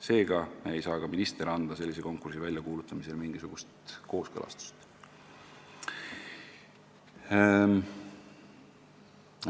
Seega ei saa ka minister anda sellise konkursi väljakuulutamisel mingisugust kooskõlastust.